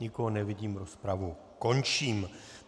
Nikoho nevidím, rozpravu končím.